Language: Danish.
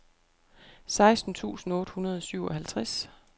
seksten tusind otte hundrede og syvoghalvtreds